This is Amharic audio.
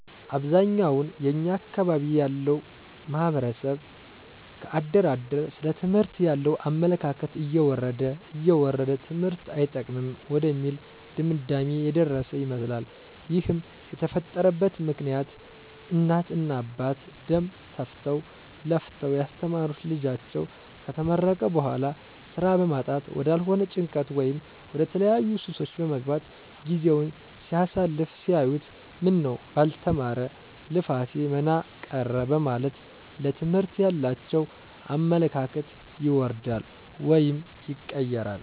አብዛኛውን የኛ አካባቢ ያለው ማህበረሰብ ከአደር አደር ስለ ትምህርት ያለው አመለካከት እየወረደ እየወረደ ትምህርት አይጠቅምም ወደሚል ድምዳሜ የደረሰ ይመስላል ይህም የተፈጠረበት ምክኒያት እናት እና አባት ደም ተፍተው ለፍተው ያስተማሩት ልጃቸው ከተመረቀ በኋላ ስራ በማጣት ወዳልሆነ ጭንቀት ወይም ወደተለያዩ ሱሶች በመግባት ጊዜውን ሲያሳልፍ ሲያዩት ምነው ባልተማረ ልፋቴ መና ቀረ በማለት ለትምህርት ያላቸው አመለካከት ይወርዳል ወይም ይቀየራል